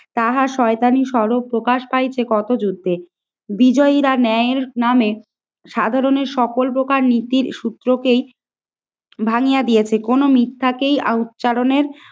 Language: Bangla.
তাহা শয়তানি স্বরূপ প্রকাশ পাইছে কত যুদ্ধে। বিজয়ীরা ন্যায়ের নামে সাধারণের সকল প্রকার নীতির সূত্রকেই ভাঙিয়া দিয়েছে। কোন মিথ্যাকেই উচ্চারণের